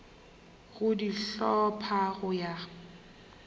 go di hlopha go ya